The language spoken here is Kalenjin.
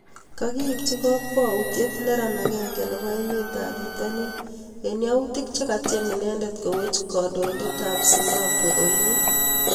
Kakiibchi kakwautiet neran agenge neboo emeet ab pitanin eng yautik chekatiem inendet kowech kandoindet ab simbabwein oliin